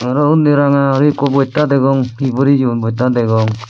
araw undi ranga guri ekko bojmtta degong hi boreyon botta degong.